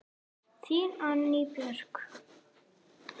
Þín, Anný Björg.